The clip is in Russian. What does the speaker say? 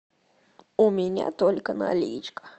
у меня только наличка